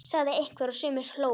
sagði einhver og sumir hlógu.